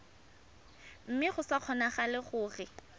mme go sa kgonagale gore